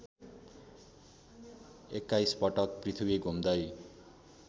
२१ पटक पृथ्वी घुम्दै